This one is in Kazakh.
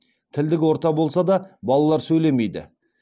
тілдік орта болса да балалар сөйлемейді